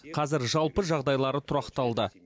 қазір жалпы жағдайлары тұрақталды